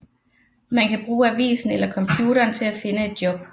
Man kan bruge avisen eller computeren til at finde et job